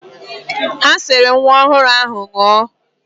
Ha siri nwa ọhụụ ahụ nnọọ.